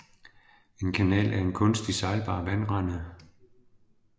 En kanal er en kunstig sejlbar vandrende